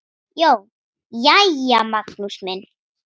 JÓN: Jæja, Magnús minn!